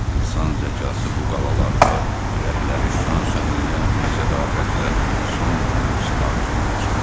İnsan zəkası bu adalarda ürəkləri şan-şan eləyən bir sədaqətlə son günün sınağından çıxdı.